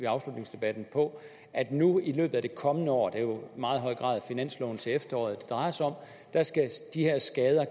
afslutningsdebatten på at nu i løbet af det kommende år det er jo i meget høj grad finansloven til efteråret det drejer sig om skal de her skader